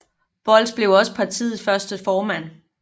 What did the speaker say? Bolz blev også partiets første formand